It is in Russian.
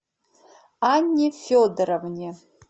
анне федоровне